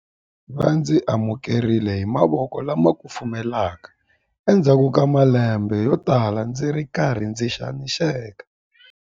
Va ndzi amukerile hi mavoko lama kufumelaka endzhaku ka malembe yotala ndzi ri karhi ndzi xaniseka.